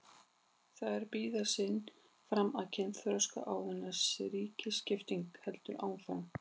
Þær bíða síðan fram að kynþroska áður en rýriskiptingin heldur áfram.